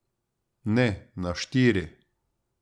Ne, na štiri.